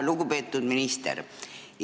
Lugupeetud minister!